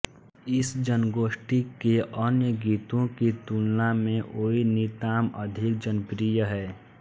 इस जनगोष्ठी के अन्य गीतो की तुलना में ओइ नितॉम अधिक जनप्रिय है